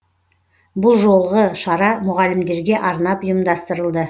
бұл жолғы шара мұғалімдерге арнап ұйымдастырылды